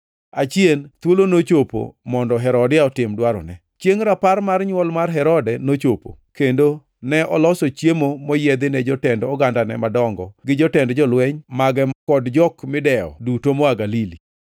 Achien thuolo nochopo mondo Herodia otim dwarone. Chiengʼ rapar mar nywol Herode nochopo, kendo ne oloso chiemo moyiedhi ne jotend ogandane madongo gi jotend jolweny mage kod jok midewo duto moa Galili.